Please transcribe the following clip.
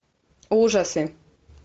ужасы